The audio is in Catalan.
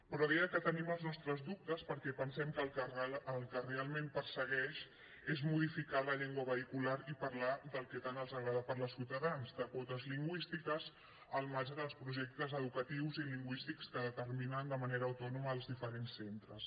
però deia que tenim els nostres dubtes perquè pensem que el que realment persegueix és modificar la llengua vehicular i parlar del que tant els agrada parlar a ciutadans de quotes lingüístiques al marge dels projectes educatius i lingüístics que determinen de manera autònoma els diferents centres